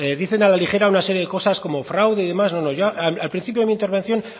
dicen a la ligera una serie de cosas como fraude y demás no yo al principio de mi intervención